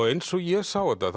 eins og ég sá þetta